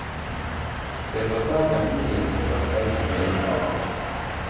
Det forsterker muligheten for at streiken blir langvarig.